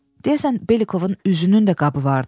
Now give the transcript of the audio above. Deyəsən Belikovun üzünün də qabı vardı.